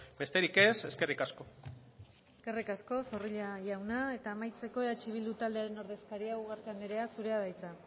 besterik ez eskerrik asko eskerrik asko zorrilla jauna eta amaitzeko eh bildu taldearen ordezkaria ugarte anderea zurea da hitza